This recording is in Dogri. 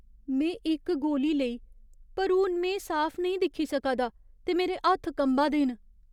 में इक गोली लेई, पर हून में साफ नेईं दिक्खी सका दा ते मेरे हत्थ कंबा दे न।